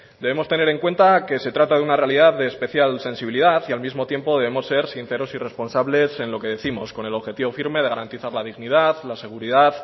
debemos tener en cuenta que se trata de una realidad de especial sensibilidad y al mismo tiempo debemos ser sinceros y responsables en lo que décimos con el objetivo firme de garantizar la dignidad la seguridad